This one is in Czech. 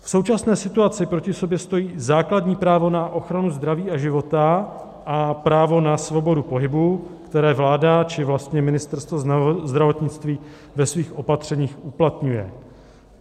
V současné situaci proti sobě stojí základní právo na ochranu zdraví a života a právo na svobodu pohybu, které vláda, či vlastně Ministerstvo zdravotnictví ve svých opatřeních uplatňuje.